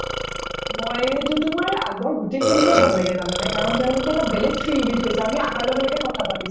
মই এইটো তোমাৰ আগৰ গোটেইখিনিকে ভাল লাগে জানানে কাৰণ তেওঁলোকে এটা বেলেগ field দি থৈছে আমি আহাৰ লগে লগে কথা পাতিছো